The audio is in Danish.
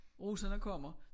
Russerne kommer